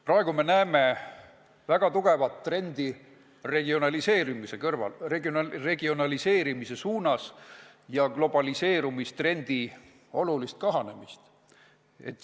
Praegu me näeme väga tugevat trendi regionaliseerimise suunas ja globaliseerumistrendi olulist nõrgenemist.